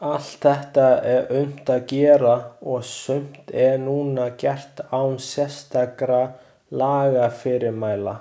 Allt þetta er unnt að gera og sumt er núna gert án sérstakra lagafyrirmæla.